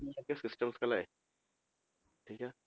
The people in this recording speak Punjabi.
ਜਾ ਕੇ systems ਖੁਲਾਏ ਠੀਕ ਹੈ,